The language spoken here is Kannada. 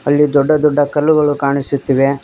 ಅಲ್ಲಿ ದೊಡ್ಡ ದೊಡ್ಡ ಕಲ್ಲುಗಳು ಕಾಣಿಸುತ್ತಿವೆ.